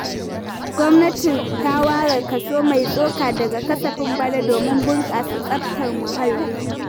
Gwamnati ta ware kaso mai tsoka daga kasafin bana domin bunƙasa tsaftar muhalli.